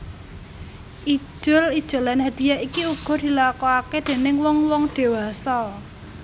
Ijol ijolan hadhiyah iki uga dilakone déning wong wong diwasa